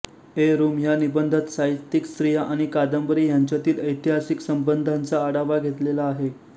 ए रूम ह्या निबंधात साहित्यिक स्त्रिया आणि कादंबरी ह्यांच्यातील ऐतिहासिक संबंधाचा आढावा घेतलेला आहे